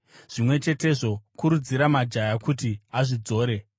Zvimwe chetezvo, kurudzira majaya kuti azvidzore.